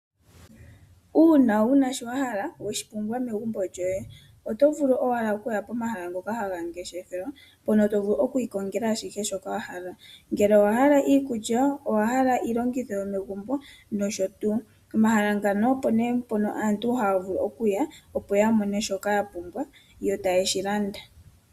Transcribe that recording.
Uuna wuna shoka wahala weshi pumbwa megumbo lyoye, oto vulu owala okuya pomahala ngoka haga ngeshefelwa mpono tovulu okwiikongela ashike shoka wahala. Ngele owahala iikulya, owahala iilongitho yomegumbo noshotuu , omahala mpono opo aantu haya yi opo yamone shoka ya pumbwa yo taye shi landa.